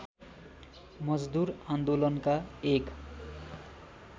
मजदुर आन्दोलनका एक